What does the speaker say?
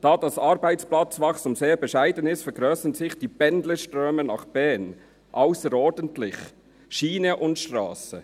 Da das Arbeitsplatzwachstum sehr bescheiden ist, vergrössern sich die Pendlerströme nach Bern ausserordentlich, auf Schiene und Strasse.